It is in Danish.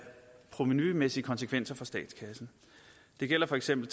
provenumæssige konsekvenser for statskassen det gælder for eksempel